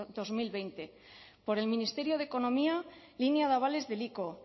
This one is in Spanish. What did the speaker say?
dos mil veinte por el ministerio de economía línea de avales del ico